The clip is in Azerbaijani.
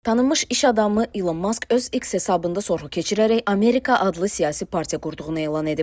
Tanınmış iş adamı İlon Mask öz X hesabında sorğu keçirərək Amerika adlı siyasi partiya qurduğunu elan edib.